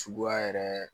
Suguya yɛrɛ